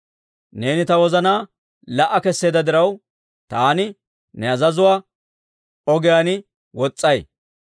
Neeni ta wozanaa la"a keseedda diraw, taani ne azazuwaa ogiyaan wos's'ay.